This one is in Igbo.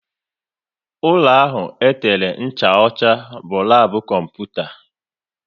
Ụlọ ahụ e tere ncha ọcha bụ labu kọmputa